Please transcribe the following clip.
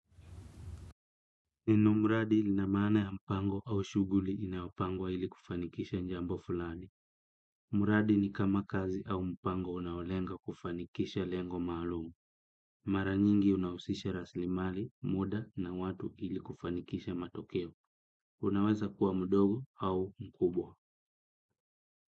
Neno mradi ilinamana ya mpango au shuguli inayopangwa ili kufanikisha njambo fulani. Mradi ni kama kazi au mpango unaolenga kufanikisha lengo malumu. Mara nyingi unausisha raslimali, muda na watu ili kufanikisha matokeo. Unaweza kuwa mudogo au mkubwa.